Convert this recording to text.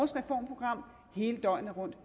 reformprogram hele døgnet rundt